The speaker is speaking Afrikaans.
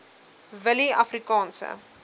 willieafrikaanse